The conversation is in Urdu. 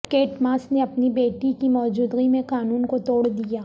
کیٹ ماس نے اپنی بیٹی کی موجودگی میں قانون کو توڑ دیا